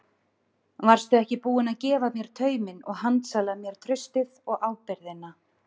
Varstu ekki búin að gefa mér tauminn og handsala mér traustið og ábyrgðina?